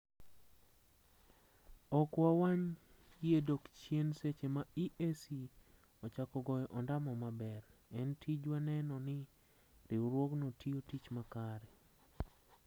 ok wa wany yie dok chien seche ma EAC ochako goyo ondamo maber. en tijwa neno ni riwruogno tiyo tich ma kare